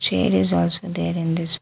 Chair is also there in this --